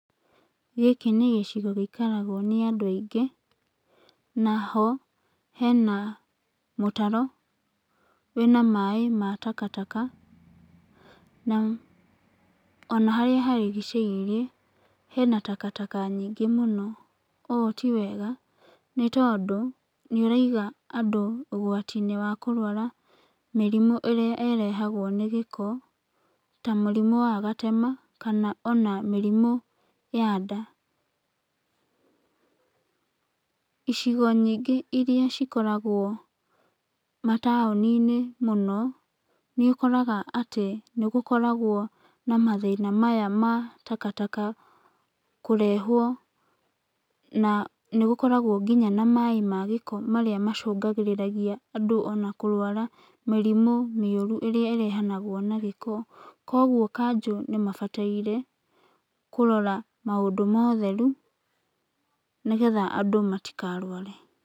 Gĩkĩ nĩ gĩcigo gĩikaragwo nĩ andũ aingĩ, na ho hena mũtaro wĩna maĩ ma takataka, na ona harĩa harigicĩirie hena takataka nyingĩ mũno. Ũũ ti wega nĩtondũ nĩũraiga andũ ũgwati-inĩ wa kũrwara mĩrimũ ĩrĩa ĩrehagwo nĩ gĩko, ta mũrimũ wa gatema, kana ona mĩrimũ ya nda. Icigo nyingĩ iria cikoragwo mataũni-inĩ mũno nĩũkoraga atĩ nĩgũkoragwo na mathĩna maya ma takataka kũrehwo na nĩgũkoragwo kinya na maĩ ma gĩko marĩa macũngagĩrĩria andũ ona kũrwara mĩrimũ mĩũru ĩrĩa ĩrehanagwo na gĩko. Kuoguo kanjũ nĩmabataire kũrora maũndũ ma ũtetheru nĩgetha andũ matikarware.